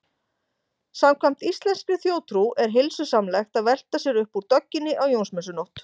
Samkvæmt íslenskri þjóðtrú er heilsusamlegt að velta sér upp úr dögginni á Jónsmessunótt.